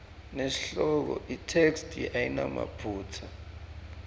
nesihloko itheksthi ayinamaphutsa